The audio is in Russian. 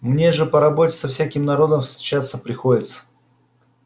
мне же по работе со всяким народом встречаться приходится